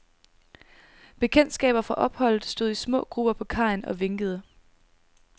Bekendtskaber fra opholdet stod i små grupper på kajen og vinkede.